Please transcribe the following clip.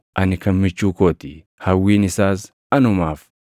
Ani kan michuu koo ti; hawwiin isaas anumaaf.